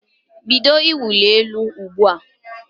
Bido ịwụ elu ugbu a!